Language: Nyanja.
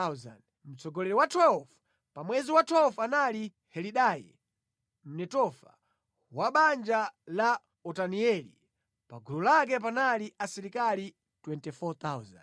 Mtsogoleri wa 12, pa mwezi wa 12 anali Helidai Mnetofa, wa banja la Otanieli. Pa gulu lake panali asilikali 24,000.